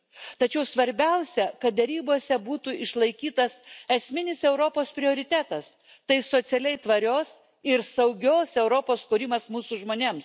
Tačiau svarbiausia, kad derybose būtų išlaikytas esminis Europos prioritetas, tai socialiai tvarios ir saugios Europos kūrimas mūsų žmonėms.